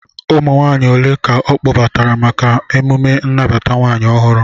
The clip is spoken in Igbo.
Ụmụ nwaanyị ole ka ọ kpọbatara maka emjme nnabata nwunye ọhụrụ?